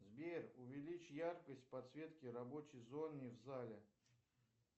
сбер увеличь яркость подсветки рабочей зоны в зале